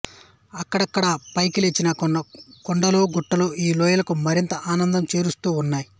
అక్కడక్కడా పైకి లేచిన కొన్ని కొండలు గుట్టలు ఈ లోయలకు మరింత అందం చేకూరుస్తూ ఉన్నాయి